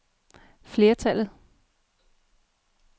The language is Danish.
flertallet